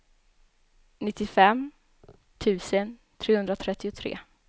nittiofem tusen trehundratrettiotre